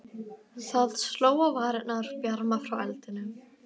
Það sló á varirnar bjarma frá eldinum.